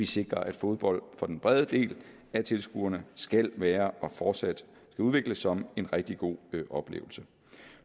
sikrer at fodbold for den brede del af tilskuerne skal være og fortsat udvikles som en rigtig god oplevelse